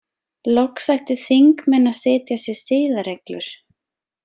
Loks ættu þingmenn að setja sér siðareglur.